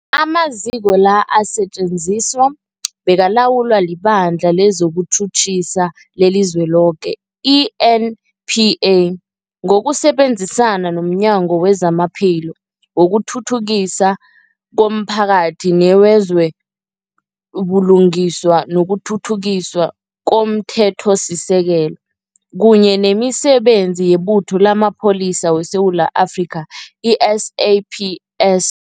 Amaziko la asetjenziswa bekalawulwa liBandla lezokuTjhutjhisa leliZweloke, i-NPA, ngokusebenzisana nomnyango wezamaPhilo, wokuthuthukiswa komphakathi newezo buLungiswa nokuThuthukiswa komThethosisekelo, kunye nemiSebenzi yeButho lamaPholisa weSewula Afrika, i-SAPS.